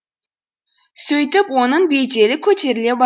сөйтіп оның беделі көтеріле ба